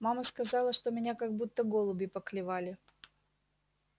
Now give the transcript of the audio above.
мама сказала что меня как будто голуби поклевали